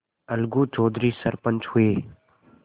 अलगू चौधरी सरपंच हुए